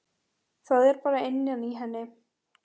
Það er bara innan í henni.